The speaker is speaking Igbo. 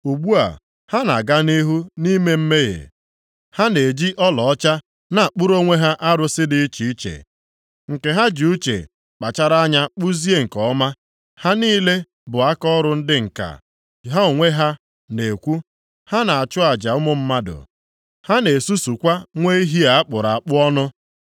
Ugbu a, ha na-aga nʼihu nʼime mmehie, ha na-eji ọlaọcha na-akpụrụ onwe ha arụsị dị iche iche, nke ha ji uche kpachara anya kpụzie nke ọma, ha niile bụ akaọrụ ndị ǹka. Ha onwe ha na-ekwu, “Ha na-achụ aja ụmụ mmadụ. Ha na-esusukwa nwa ehi a kpụrụ akpụ ọnụ”